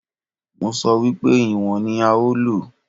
Mo sọ wípé ìwọ̀n ní a ó lò.